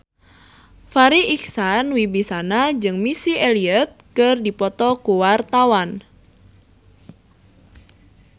Farri Icksan Wibisana jeung Missy Elliott keur dipoto ku wartawan